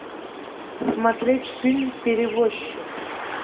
смотреть фильм перевозчик